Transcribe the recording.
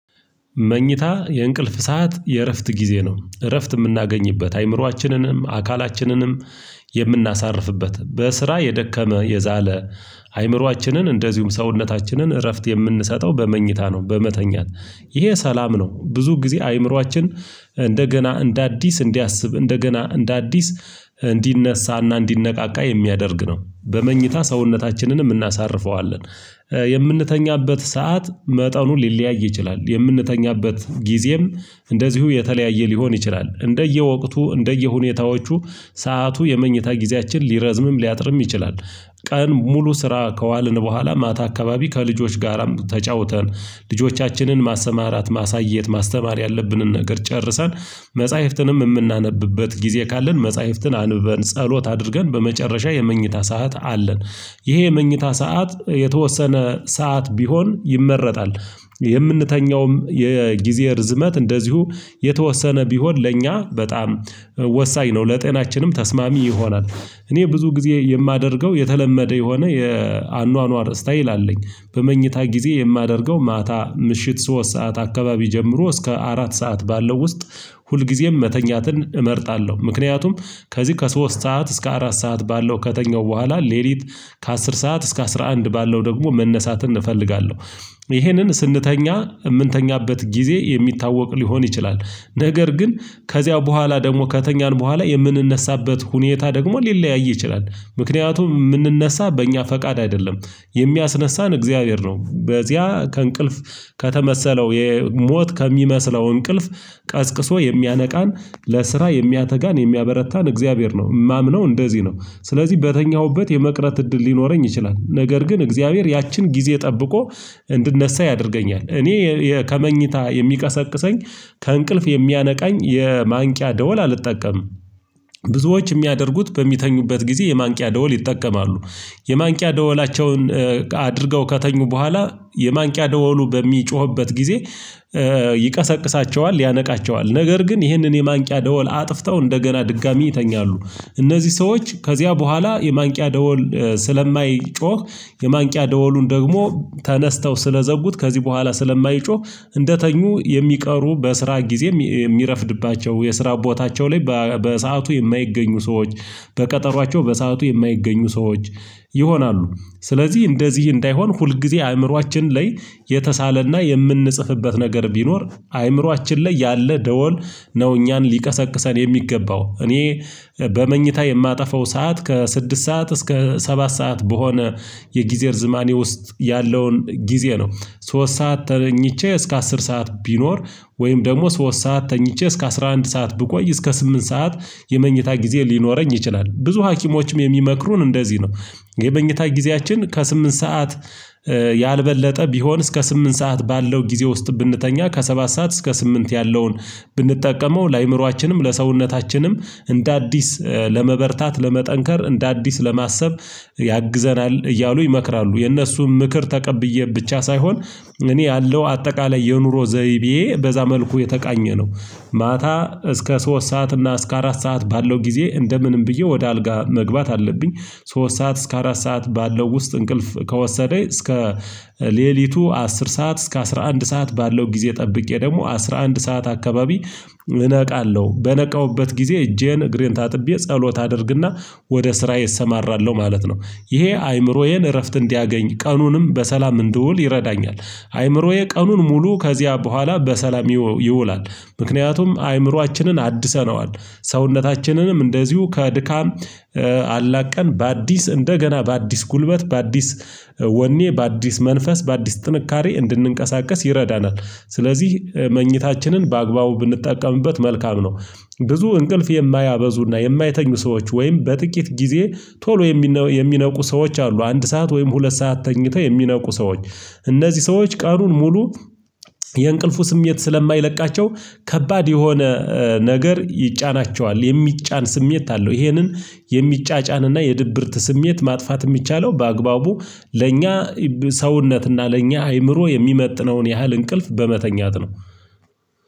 መኝታ የእንቅልፍ ሰዓት የእረፍት ጊዜ ነው እረፍት የምናገኝበት አይምሮአችንንም አካላችንንም የምናሳርፍበት በስራ የደከመ የዛለ አይምሮአችንን እንደዚሁም ሰውነታችንን እረፍት የምንሰጠው በመኝታ ነው በመተኛት ይሄ ሰላም ነው ብዙ ጊዜ አይምሮአችን እንደገና እንደ አዲስ እንዲያስብ እንደገና እንደ አዲስ እንዲነሳና እንዲነቃቃ የሚያደርግ ነው በመኝታ ሰውነታችንንም እናሳርፈዋለን የምንተኛበት ሰዓት መጠኑን ሊለያይ ይችላል የምንተኛበት ጊዜም እንደዚሁ የተለያየ ሊሆን ይችላል እንደየወቅቱ እንደየሁኔታዎቹ ሰዓቱ የመኝታ ጊዜያችን ሊረዝምም ሊያጥርም ይችላል ቀን ሙሉ ስራ ከዋልን በኋላ ማታ አካባቢ ከልጆች ጋራም ተጫውተን ልጆቻችንን ማሰማራት ማሳየት ማስተማር ያለብንን ነገር ጨርሰን መጽሐፍትንም የምናነብበት ጊዜ ካለን መጽሐፍትን አንብበን ጸሎት አድርገን በመጨረሻ የመኝታ ሰዓት አለን ይሄ የመኝታ ሰዓት የተወሰነ ሰዓት ቢሆን ይመረጣል የምንተኛውም የጊዜ ርዝመት እንደዚሁ የተወሰነ ቢሆን ለእኛ በጣም ወሳኝ ነው ለጤናችንም ተስማሚ ይሆናል እኔ ብዙ ጊዜ የማደርገው የተለመደ የሆነ የአኗኗር ስታይል አለኝ በመኝታ ጊዜ የማደርገው ማታ ምሽት ሶስት ሰዓት አካባቢ ጀምሮ እስከ አራት ሰዓት ባለው ውስጥ ሁልጊዜም መተኛትን እመርጣለሁ ምክንያቱም ከዚህ ከሶስት ሰዓት እስከ አራት ሰዓት ባለው ከተኛው በኋላ ሌሊት ከአስር ሰዓት እስከ አስራ አንድ ባለው ደግሞ መነሳትን እፈልጋለሁ ይሄንን ስንተኛ የምንተኛበት ጊዜ የሚታወቅ ሊሆን ይችላል ነገር ግን ከዚያው በኋላ ደግሞ ከተኛን በኋላ የምንነሳበት ሁኔታ ደግሞ ሊለያይ ይችላል ምክንያቱም የምንነሳ በእኛ ፈቃድ አይደለም የሚያስነሳን እግዚአብሔር ነው በዚያ ከእንቅልፍ ከተመሰለው ሞት ከሚመስለው እንቅልፍ ቀስቅሶ የሚያነቃን ለስራ የሚያተጋን የሚያበረታን እግዚአብሔር ነው የማምነው እንደዚህ ነው ስለዚህ በተኛሁበት የመቅረት እድል ሊኖረኝ ይችላል ነገር ግን እግዚአብሔር ያችን ጊዜ ጠብቆ እንድነሳ ያደርገኛል እኔ ከመኝታ የሚቀሰቅሰኝ ከእንቅልፍ የሚያነቃኝ የማንቂያ ደወል አልጠቀምም ብዙዎች የሚያደርጉት በሚተኙበት ጊዜ የማንቂያ ደወል ይጠቀማሉ የማንቂያ ደወላቸውን አድርገው ከተኙ በኋላ የማንቂያ ደወሉ በሚጮህበት ጊዜ ይቀሰቅሳቸዋል ያነቃቸዋል ነገር ግን ይህንን የማንቂያ ደወል አጥፍተው እንደገና ድጋሚ ይተኛሉ እነዚህ ሰዎች ከዚያ በኋላ የማንቂያ ደወል ስለማይጮህ የማንቂያ ደወሉን ደግሞ ተነስተው ስለዘጉት ከዚህ በኋላ ስለማይጮህ እንደተኙ የሚቀሩ በስራ ጊዜ የሚረፍድባቸው የስራ ቦታቸው ላይ በሰአቱ የማይገኙ ሰዎች በቀጠሮአቸው በሰአቱ የማይገኙ ሰዎች ይሆናሉ ስለዚህ እንደዚህ እንዳይሆን ሁልጊዜ አእምሮአችን ላይ የተሳለና የምንጽፍበት ነገር ቢኖር አእምሮአችን ላይ ያለ ደወል ነው እኛን ሊቀሰቅሰን የሚገባው እኔ በመኝታ የማጠፋው ሰዓት ከስድስት ሰዓት እስከ ሰባት ሰዓት በሆነ የጊዜ እርዝማኔ ውስጥ ያለውን ጊዜ ነው ሶስት ሰዓት ተኝቼ እስከ አስር ሰዓት ቢኖር ወይም ደግሞ ሶስት ሰዓት ተኝቼ እስከ አስራ አንድ ሰዓት ብቆይ እስከ ስምንት ሰዓት የመኝታ ጊዜ ሊኖረኝ ይችላል ብዙ ሀኪሞችም የሚመክሩን እንደዚህ ነው የመኝታ ጊዜያችን ከስምንት ሰዓት ያልበለጠ ቢሆን እስከ ስምንት ሰዓት ባለው ጊዜ ውስጥ ብንተኛ ከሰባት ሰዓት እስከ ስምንት ያለውን ብንጠቀመው ለአእምሮአችንም ለሰውነታችንም እንደ አዲስ ለመበርታት ለመጠንከር እንደ አዲስ ለማሰብ ያግዘናል እያሉ ይመክራሉ የእነሱን ምክር ተቀብዬ ብቻ ሳይሆን እኔ ያለው አጠቃላይ የኑሮ ዘይቤ በዛ መልኩ የተቃኘ ነው ማታ እስከ ሶስት ሰዓት እና እስከ አራት ሰዓት ባለው ጊዜ እንደ ምንም ብዬ ወደ አልጋ መግባት አለብኝ ሶስት ሰዓት እስከ አራት ሰዓት ባለው ውስጥ እንቅልፍ ከወሰደኝ እስከ ሌሊቱ አስር ሰዓት እስከ አስራ አንድ ሰዓት ባለው ጊዜ ጠብቄ ደግሞ አስራ አንድ ሰዓት አካባቢ ነቃለሁ በነቃሁበት ጊዜ እጄን እግሬን ታጥቤ ጸሎት አደርግና ወደ ስራዬ እሰማራለሁ ማለት ነው። ይሄ አይምሮዬን እረፍት እንዲያገኝ ቀኑንም በሰላም እንድውል ይረዳኛል። አይምሮዬ ቀኑን ሙሉ ከዚያ በኋላ በሰላም ይውላል። ምክንያቱም አይምሮአችንን አድሰነዋል ሰውነታችንንም እንደዚሁ ከድካም አላቀን በአዲስ እንደገና በአዲስ ጉልበት በአዲስ ወኔ በአዲስ መንፈስ በአዲስ ጥንካሬ እንድንቀሳቀስ ይረዳናል ስለዚህ መኝታችንን በአግባቡ ብንጠቀምበት መልካም ነው ብዙ እንቅልፍ የማያበዙና የማይተኙ ሰዎች ወይም በጥቂት ጊዜ ቶሎ የሚነቁ ሰዎች አሉ አንድ ሰዓት ወይም ሁለት ሰዓት ተኝተው የሚነቁ ሰዎች እነዚህ ሰዎች ቀኑን ሙሉ የእንቅልፉ ስሜት ስለማይለቃቸው ከባድ የሆነ ነገር ይጫናቸዋል የሚጫን ስሜት አለው ይሄንን የሚጫጫን እና የድብርት ስሜት ማጥፋት የሚቻለው በአግባቡ ለእኛ ሰውነትና ለእኛ አይምሮ የሚመጥነውን ያህል እንቅልፍ በመተኛት ነው